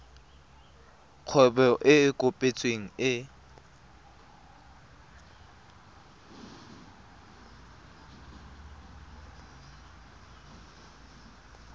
kgwebo e e kopetsweng e